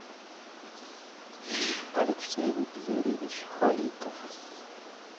алексей юрьевич халитов